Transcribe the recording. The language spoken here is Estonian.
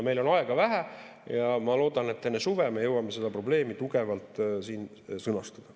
Meil on aega vähe ja ma loodan, et enne suve me jõuame seda probleemi tugevalt siin sõnastada.